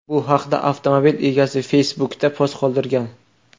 Bu haqda avtomobil egasi Facebook’da post qoldirgan.